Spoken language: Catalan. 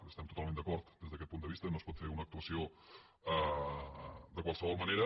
hi estem totalment d’acord des d’aquest punt de vista no es pot fer una actuació de qualsevol manera